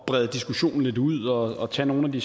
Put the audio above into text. brede diskussionen lidt ud og tage nogle af de